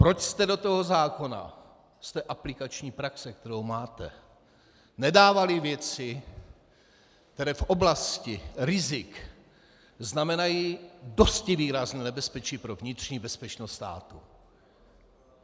Proč jste do toho zákona z té aplikační praxe, kterou máte, nedávali věci, které v oblasti rizik znamenají dosti výrazné nebezpečí pro vnitřní bezpečnost státu?